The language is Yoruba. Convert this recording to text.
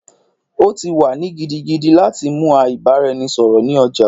O ti wa ni gidigidi lati mu a ibaraẹnisọrọ ni oja